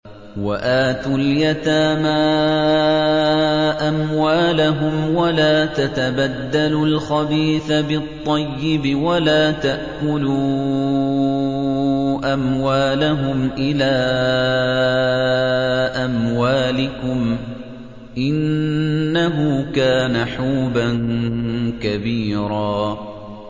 وَآتُوا الْيَتَامَىٰ أَمْوَالَهُمْ ۖ وَلَا تَتَبَدَّلُوا الْخَبِيثَ بِالطَّيِّبِ ۖ وَلَا تَأْكُلُوا أَمْوَالَهُمْ إِلَىٰ أَمْوَالِكُمْ ۚ إِنَّهُ كَانَ حُوبًا كَبِيرًا